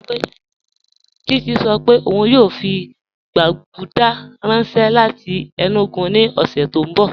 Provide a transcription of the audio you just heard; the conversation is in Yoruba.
Chichi sọ́ pé óun yóò fi gbàgùdà ranṣẹ láti Enugu ni ọṣẹ̀ ti n bọ̀.